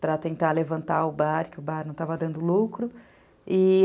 Para tentar levantar o bar, que o bar não estava dando lucro.